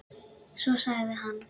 Svo sagði hann